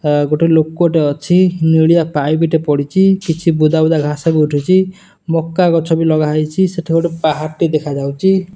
ଆ ଗୋଟେ ଲୋକଟେ ଅଛି। ନେଳିଆ ପାଇପ୍ ଟେ ପଡ଼ିଚି। କିଛି ବୁଦା ବୁଦା ଘାସ ବି ଉଠିଚି। ମକା ଗଛ ବି ଲଗାହେଇଚି। ସେଠି ଗୋଟେ ପାହାଡ଼ଟେ ଦେଖାଯାଉଚି।